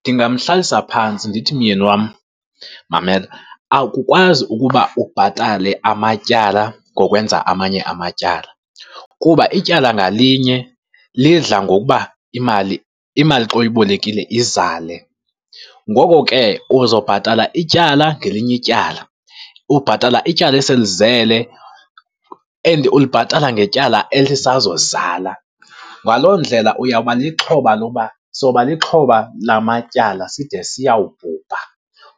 Ndingamhlalisa phantsi ndithi, myeni wam mamela, akukwazi ukuba ubhatale amatyala ngokwenza amanye amatyala kuba ityala ngalinye lidla ngokuba imali, imali xa uyibolekile izale. Ngoko ke uzobhatala ityala ngelinye ityala, ubhatala ityala esele lizele and ulibhatala ngetyala elisazozala. Ngaloo ndlela uyawuba lixhoba loba, soba lixhoba lamatyala side siyawubhubha